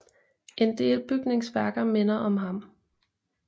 En del bygningsværker minder om ham